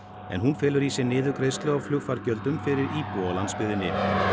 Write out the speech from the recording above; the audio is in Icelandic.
en hún felur í sér niðurgreiðslu á flugfargjöldum fyrir íbúa á landsbyggðinni